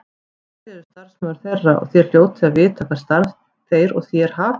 Þér eruð starfsmaður þeirra og þér hljótið að vita hvert starf þeir og þér hafið.